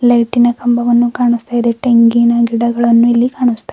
ಲೈಟಿನ ಕಂಬವನ್ನು ಕಾಣಿಸುತ್ತಿದೆ ತೆಂಗಿನ ಗಿಡವನ್ನು ಇಲ್ಲಿ ಕಾಣಿಸ್ತಾ ಇದೆ.